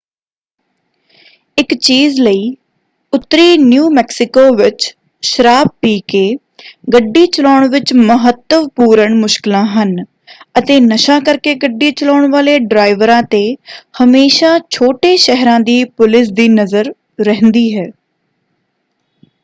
ਇਕ ਚੀਜ਼ ਲਈ ਉੱਤਰੀ ਨਿਊ ਮੈਕਸੀਕੋ ਵਿੱਚ ਸ਼ਰਾਬ ਪੀ ਕੇ ਗੱਡੀ ਚਲਾਉਣ ਵਿੱਚ ਮਹੱਤਵਪੂਰਣ ਮੁਸ਼ਕਲਾਂ ਹਨ ਅਤੇ ਨਸ਼ਾ ਕਰਕੇ ਗੱਡੀ ਚਲਾਉਣ ਵਾਲੇ ਡਰਾਈਵਰਾਂ 'ਤੇ ਹਮੇਸ਼ਾਂ ਛੋਟੇ-ਸ਼ਹਿਰਾਂ ਦੀ ਪੁਲਿਸ ਦੀ ਨਜ਼ਰ ਰਹਿੰਦੀ ਹੈ।